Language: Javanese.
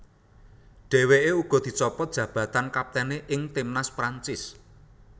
Dheweke uga dicopot jabatan kaptene ing timnas Prancis